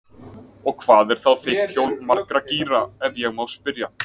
Og hvað er þá þitt hjól margra gíra, ef ég má spyrja?